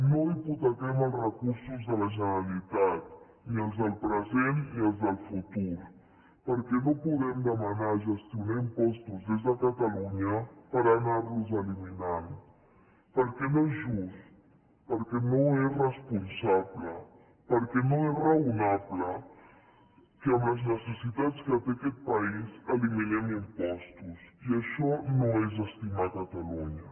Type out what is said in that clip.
no hipotequem els recursos de la generalitat ni els del present ni els del futur perquè no podem demanar gestionar impostos des de catalunya per anarlos eliminant perquè no és just perquè no és responsable perquè no és raonable que amb les necessitats que té aquest país eliminem impostos i això no és estimar catalunya